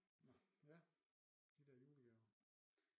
Nå ja de der julegaver